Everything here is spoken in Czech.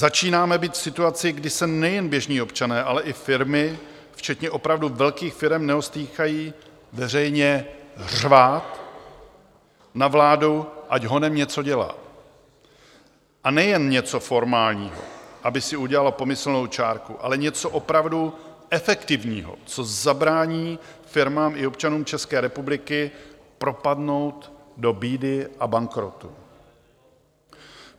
Začínáme být v situaci, kdy se nejen běžní občané, ale i firmy včetně opravdu velkých firem neostýchají veřejně řvát na vládu, ať honem něco dělá, a nejen něco formálního, aby si udělala pomyslnou čárku, ale něco opravdu efektivního, co zabrání firmám i občanům České republiky propadnout do bídy a bankrotu.